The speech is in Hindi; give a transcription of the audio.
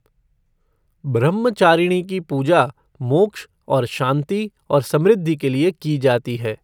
ब्रह्मचारिणी की पूजा मोक्ष और शांति और समृद्धि के लिए की जाती है।